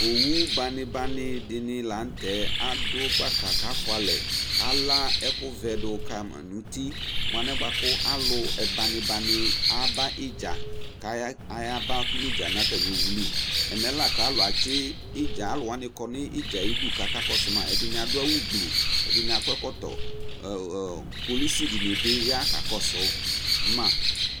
j Owu bani banidini la nu tɛ kafualɛkala ɛkuvɛ di du kama nu uti mu alɛna alu bani bani ayaba niidza nu owu li alu atsi idza akakɔsu ma kpolusi dini bi ya kakɔsu ma